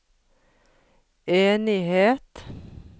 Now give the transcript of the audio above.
enighet